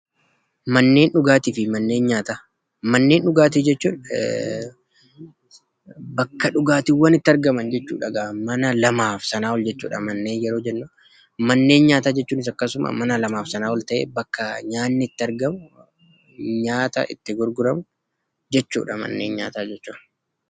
Manneen dhugaatii fi manneen nyaataa. Manneen dhugaatii jechuun bakka dhugaatiiwwan itti argaman jechuudha. Mana lamaaf sanaa ol jechuudha manneen yeroo jennu. Manneen nyaataa jechuunis akkasuma, mana lamaa fi sanaa ol ta'e bakka nyaatni itti argamu , nyaata itti gurguramu jechuudha manneen nyaataa jechuun.